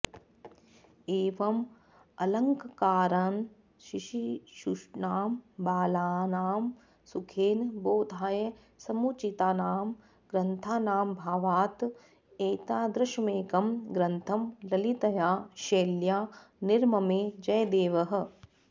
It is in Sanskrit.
एवं अलङ्कारान् शिशिक्षूणां बालानां सुखेन बोधाय समुचितानां ग्रन्थानामभावात् एतादृशमेकं ग्रन्थं ललितया शैल्या निर्ममे जयदेवः